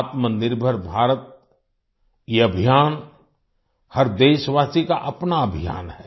आत्मनिर्भर भारत ये अभियान हर देशवासी का अपना अभियान है